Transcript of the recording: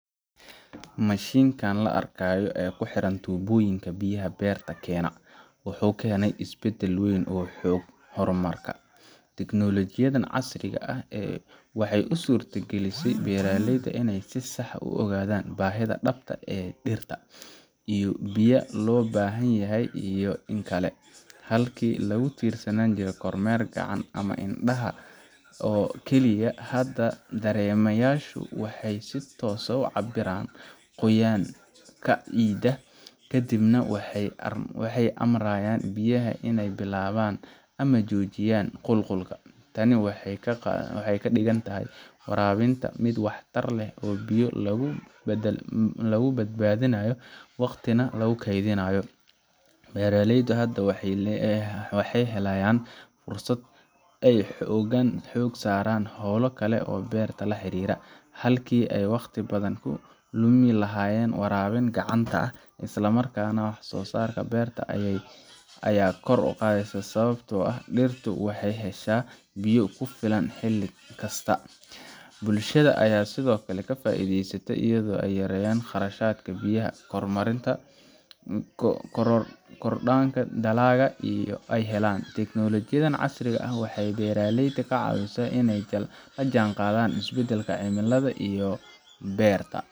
Mashiinkan la arkayo ee ku xiran tuubooyinka biyaha beerta keena, wuxuu keenay isbedel weyn oo xagga horumarka ah. Teknoolajiyaddan casriga ah waxay u suurtagelisay beeraleyda inay si sax ah u ogaadaan baahida dhabta ah ee dhirta in biyo loo baahan yahay iyo in kale. Halkii lagu tiirsanaan lahaa kormeer gacan ah ama indhaha oo kaliya, hadda dareemayaashu waxay si toos ah u cabbiraan qoyaan-ka ciidda, kadibna waxay amraayaan biyaha inay bilaabaan ama joojiyaan qulqulka. Tani waxay ka dhigtay waraabinta mid waxtar leh oo biyo lagu badbaadinayo, waqtina la kaydinayo. Beeraleydu hadda waxay helayaan fursad ay xoogga saaraan hawlo kale oo beerta la xiriira, halkii ay waqti badan ku lumi lahaayeen waraabin gacanta ah. Isla markaana, wax-soo-saarka beerta ayaa kordhay, sababtoo ah dhirtu waxay heshaa biyo ku filan xilli kasta Bulshada ayaa sidoo kale ka faa’iideysa, iyadoo ay yaraanayaan khasaarada biyaha, korodhanaayo dalagga la helo. Teknoolajiyaddan casriga ah waxay beeraleyda ka caawisay inay la jaanqaadaan isbedelka cimilada iyo beerta